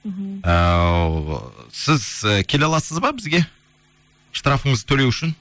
ііі сіз келе аласыз ба бізге штрафыңызды төлеу үшін